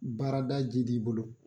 Baarada ji di' i bolo